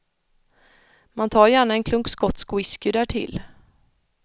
Man tar gärna en klunk skotsk whisky därtill.